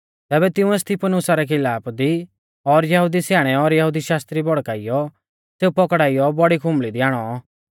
तैबै तिंउऐ स्तिफानुसा रै खिलाफा दी लोग और यहुदी स्याणै और यहुदी शास्त्री भड़काइयौ सेऊ पाकड़ियौ बौड़ी खुंबल़ी दी आणौ